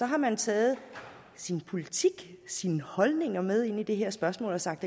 har man taget sin politik sine holdninger med ind i det her spørgsmål og har sagt